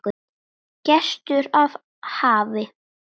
Gestur af hafi